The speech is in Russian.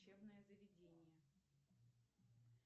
учебное заведение